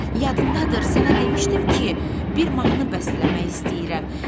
Yadındadır, sənə demişdim ki, bir mahnı bəstələmək istəyirəm.